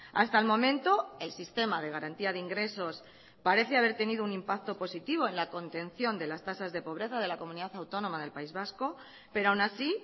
hasta el momento el sistema de garantía de ingresos parece haber tenido un impacto positivo en la contención de las tasas de pobreza de la comunidad autónoma del país vasco pero aún así